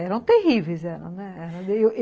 eram terríveis.